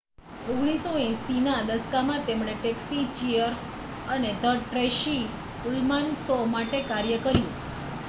1980ના દશકમાં તેમણે Taxi Cheers અને ધ ટ્રેસી ઉલમાન શો માટે કાર્ય કર્યું